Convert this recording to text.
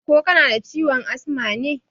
Ko kanada ciwon asma ne?